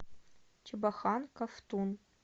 чебохан ковтун